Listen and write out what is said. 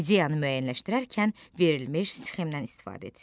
İdeyanı müəyyənləşdirərkən verilmiş sxemdən istifadə et.